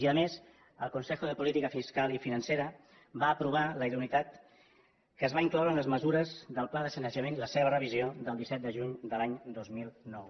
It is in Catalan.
i a més el consejo de política fiscal y financiera en va aprovar la idoneïtat que es va incloure en les mesures del pla de sanejament i la seva revisió del disset de juny de l’any dos mil nou